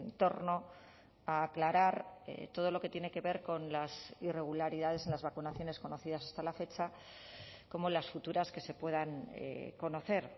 torno a aclarar todo lo que tiene que ver con las irregularidades en las vacunaciones conocidas hasta la fecha como las futuras que se puedan conocer